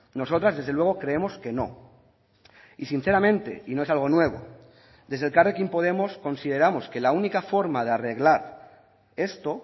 nosotras desde luego creemos que no y sinceramente y no es algo nuevo desde elkarrekin podemos consideramos que la única forma de arreglar esto